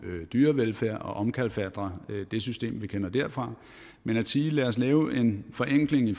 dyrevelfærd og omkalfatre det system vi kender derfra men at sige lad os lave en forenkling